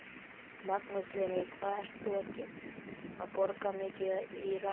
Magnús Hlynur: Hvað ert þú að borga mikið í rafmagn?